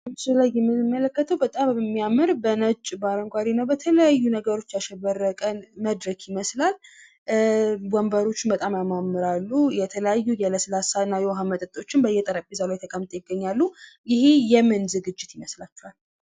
ምስሉ ላይ የምንመለከተዉ በጣም የሚያምር በነጭ በአረንጓዴ በተለያዩ ነገሮች ያሸበረቀ መድረክ ይመስላል። ወንበሮቹ በጣም ያማምራሉ። የተለያዩ የዉኃ እና ለስላሳ መጠጦች በየጠረጴዛዉ ላይ ተቀምጠዉ ይታያሉ። ይሄ የምን ዝግጅት ይመስላል?